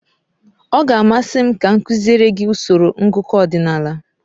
Ọ ga-amasị m ka m kuziere gị usoro ngụkọ ọdịnala?